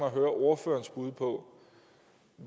at høre ordførerens bud på